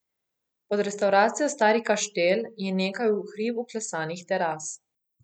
Pod restavracijo Stari Kaštel je nekaj v hrib vklesanih teras.